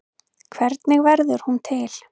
Hvernig verður hún til?